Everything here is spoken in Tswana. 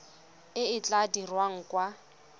e e tla dirwang kwa